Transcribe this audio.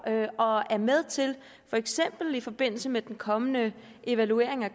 og er med til for eksempel i forbindelse med den kommende evaluering af